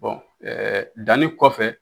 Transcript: Bɔn ɛɛ danni kɔfɛ